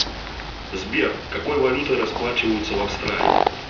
сбер какой валютой расплачиваются в австралии